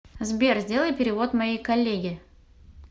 сбер сделай перевод моей коллеге